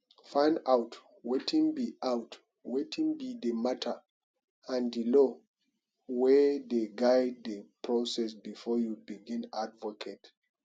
find out wetin be out wetin be di matter and di law wey dey guide the process before you begin advocate